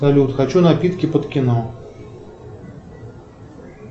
салют хочу напитки под кино